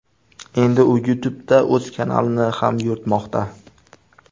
Endi u YouTube’da o‘z kanalini ham yuritmoqda.